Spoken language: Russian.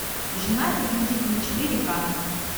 женатый и с детьми четыре ка